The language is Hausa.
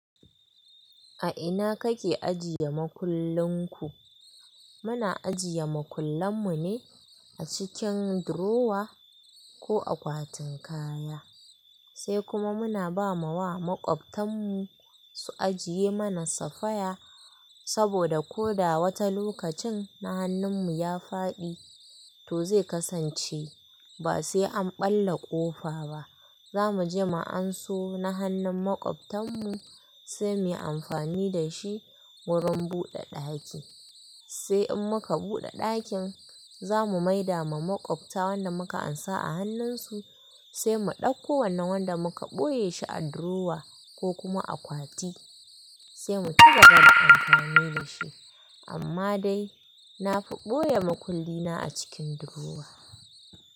A ina kake ajiye makullunku? Muna ajiye makullan mu ne a cikin durowa ko akwatin kaya, sai kuma muna ba ma wa makwabtan mu su ajiye mana safaya saboda ko da wata lokacin na hannun mu ya faɗi to zai kasance ba sai an ɓalla ƙofa ba. Za mu je mu anso na hannun makwabtan mu sai mu yi amfani da shi wurin buɗe ɗaki. Sai in muka buɗe ɗakin za mu maida ma makwabta wanda muka ansa a hannun su sai mu ɗauko wannan wanda muka ɓoye shi a durowa ko kuma akwati sai mu cigaba da amfani da shi. Amma dai na fi ɓoye makulli na a cikin durowa.